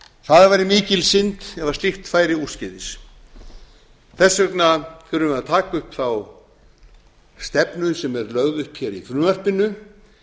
það væri mikil synd ef slíkt færi úrskeiðis þess vegna þurfum við að taka upp þá stefnu sem er lögð upp hér í frumvarpinu